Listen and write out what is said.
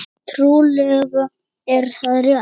Trúlega er það rétt.